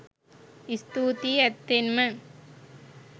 ස්තූතියි ඇත්තෙන්ම